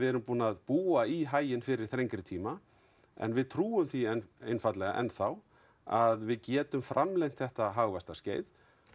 erum búin að búa í haginn fyrir þrengri tíma en við trúum því einfaldlega en þá að við getum framlengt þetta hagvaxtarskeið